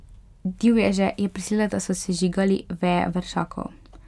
Divježe je prisilila, da so sežigali veje vršakov.